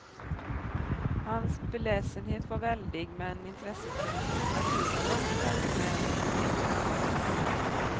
Hans beläsenhet var väldig, men intresset för litteratur var långt starkare än det för andra konstarter.